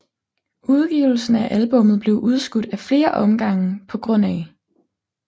Udgivelsen af albummet blev udskudt af flere omgange pga